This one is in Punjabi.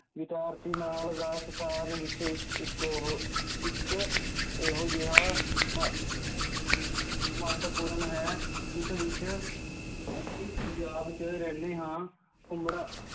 ਵਿੱਚ ਇੱਕ ਉਹ ਇੱਕ ਇਹੋ ਜਿਹਾ ਮਹੱ~ ਮਹੱਤਵਪੂਰਨ ਹੈ, ਜਿਸ ਵਿੱਚ ਅਸੀਂ ਪੰਜਾਬ 'ਚ ਰਹਿੰਦੇ ਹਾਂ,